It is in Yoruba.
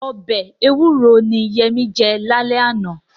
Ọbẹ̀ ewúro ni Yẹmí jẹ lálẹ́ àná.